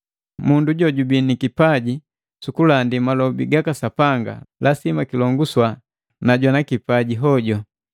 Mundu jojubii nikipaji sukulandi malobi gaka Sapanga lasima kilonguswa na jwana kipajimbomb hoju.